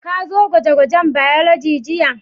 Ka zo gwaje-gwajen Biology jiya?